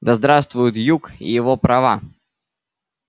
да здравствует юг и его права